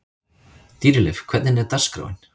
Dýrleif, hvernig er dagskráin?